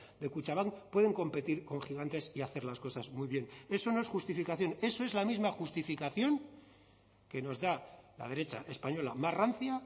de kutxabank pueden competir con gigantes y hacer las cosas muy bien eso no es justificación eso es la misma justificación que nos da la derecha española más rancia